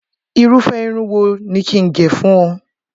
Irúfẹ́ irun wo ni kí n gẹ̀ fún ọ?